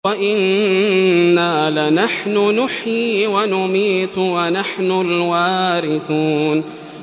وَإِنَّا لَنَحْنُ نُحْيِي وَنُمِيتُ وَنَحْنُ الْوَارِثُونَ